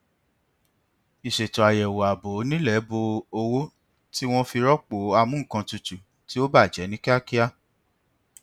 ìṣètò àyẹwò ààbò onílẹ bó owó tí wọn fi rọpò amú nkan tutù tí ó bàjẹ ní kíákíá